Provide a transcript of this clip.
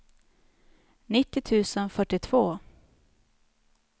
nittio tusen fyrtiotvå